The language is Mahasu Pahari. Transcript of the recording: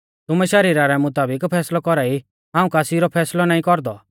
तुमै शरीरा रै मुताबिक फैसलौ कौरा ई हाऊं कासी रौ फैसलौ नाईं कौरदौ